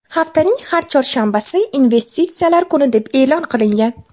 Haftaning har chorshanbasi investitsiyalar kuni deb e’lon qilingan.